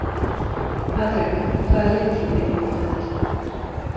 Patrek, hvaða leikir eru í kvöld?